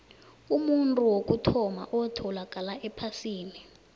umuntu wokuthoma owatholakala ephasini